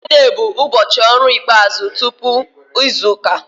Fraịde bụ ụbọchị ọrụ ikpeazụ tupu izu ụka